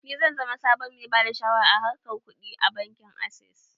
Ni zan zama sabon mai bada shawara a harkan kuɗi a bankin access